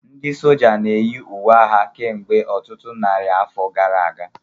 Ndị sójá na-eyi uwe agha kemgbe ọtụtụ narị afọ gara aga